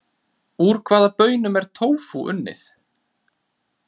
Úr hvaða baunum er tófú unnið?